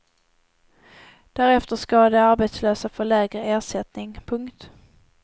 Därefter ska de arbetslösa få lägre ersättning. punkt